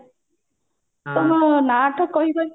ତମ ନା ଟା କହିବ କି?